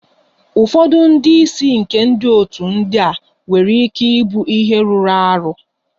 Ụfọdụ ndị isi nke otu ndị a nwere ike ịbụ ihe rụrụ arụ.